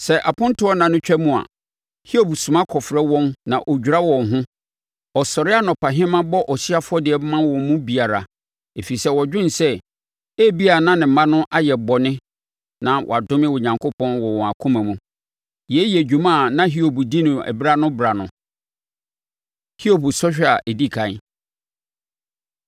Sɛ apontoɔ nna no twam a, Hiob soma kɔfrɛ wɔn na wɔdwira wɔn ho. Ɔsɔre anɔpahema bɔ ɔhyeɛ afɔdeɛ ma wɔn mu biara, ɛfiri sɛ ɔdwene sɛ, “Ebia na me mma no ayɛ bɔne na wɔadome Onyankopɔn wɔ wɔn akoma mu.” Yei yɛ dwuma a na Hiob di no ɛberɛ-ano-berɛ ano. Hiob Sɔhwɛ A Ɛdi Ɛkan